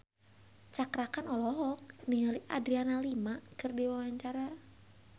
Cakra Khan olohok ningali Adriana Lima keur diwawancara